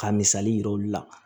Ka misali yir'olu la